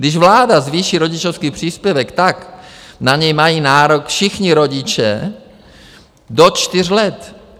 Když vláda zvýší rodičovský příspěvek, tak na něj mají nárok všichni rodiče do čtyř let.